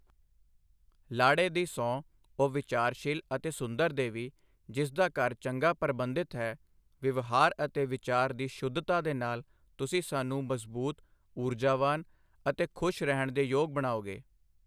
ਲਾੜੇ ਦੀ ਸਹੁੰ ਓਹ, ਵਿਚਾਰਸ਼ੀਲ ਅਤੇ ਸੁੰਦਰ ਦੇਵੀ, ਜਿਸ ਦਾ ਘਰ ਚੰਗਾ ਪਰਬੰਧਿਤ ਹੈ, ਵਿਵਹਾਰ ਅਤੇ ਵਿਚਾਰ ਦੀ ਸ਼ੁੱਧਤਾ ਦੇ ਨਾਲ, ਤੁਸੀਂ ਸਾਨੂੰ ਮਜ਼ਬੂਤ, ਊਰਜਾਵਾਨ ਅਤੇ ਖੁਸ਼ ਰਹਿਣ ਦੇ ਯੋਗ ਬਣਾਓਗੇ।